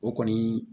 O kɔni